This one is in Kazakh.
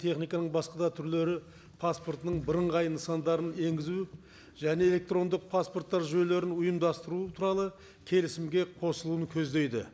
техниканың басқа да түрлері паспортының бірыңғай нысандарын енгізу және электрондық паспорттар жүйелерін ұйымдастыру туралы келісімге қосылуын көздейді